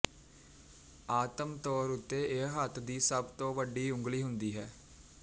ਆਮ ਤੌਰ ਉੱਤੇ ਇਹ ਹੱਥ ਦੀ ਸਭ ਤੋਂ ਵੱਡੀ ਉਂਗਲ ਹੁੰਦੀ ਹੈ